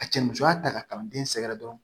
A cɛ musoya ta ka kalan den sɛgɛrɛ dɔrɔn